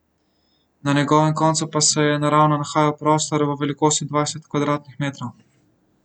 Na njegovem koncu pa se je naravno nahajal prostor v velikosti dvajset kvadratnih metrov.